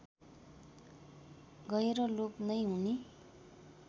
गएर लोप नै हुने